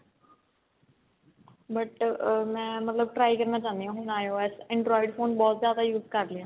but ਅਮ ਮੈਂ ਮਤਲਬ try ਕਰਨਾ ਚਾਹੁੰਦੀ ਹਾਂ ਹੁਣ IOS android phone ਬਹੁਤ ਜਿਆਦਾ use ਕਰ ਲੈ